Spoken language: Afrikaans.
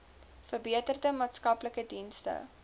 verbeterde maatskaplike dienste